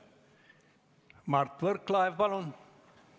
Mart Võrklaev, palun!